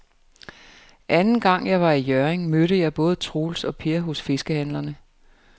Anden gang jeg var i Hjørring, mødte jeg både Troels og Per hos fiskehandlerne.